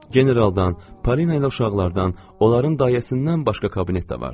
Generaldan, Parina ilə uşaqlardan, onların dayəsindən başqa kabinetdə vardı.